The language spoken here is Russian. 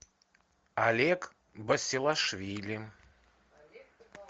олег басилашвили